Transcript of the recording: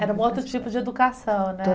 Era um outro tipo de educação, né?